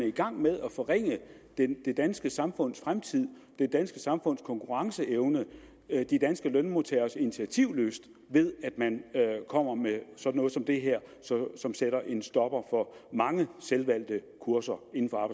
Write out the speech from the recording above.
i gang med at forringe det danske samfunds fremtid det danske samfunds konkurrenceevne de danske lønmodtageres initiativlyst ved at man kommer med sådan noget som det her som sætter en stopper for mange selvvalgte kurser